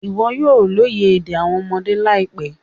Iwọ yoo loye ede awọn ọmọde laipẹ